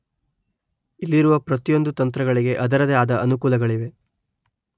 ಇಲ್ಲಿರುವ ಪ್ರತಿಯೊಂದು ತಂತ್ರಗಳಿಗೆ ಅದರದೆ ಆದ ಅನುಕೂಲಗಳಿವೆ